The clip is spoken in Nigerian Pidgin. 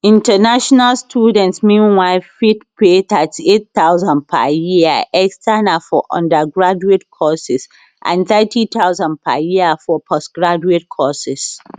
international students meanwhile fit pay thirty eight thousand per year external for undergraduate courses and thirty thousand per year for postgraduate courses